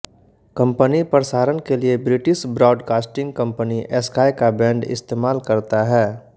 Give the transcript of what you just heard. company प्रसारण के लिए ब्रिटिश ब्राडकास्टिंग कंपनी स्काई का बैंड इस्तेमाल करता है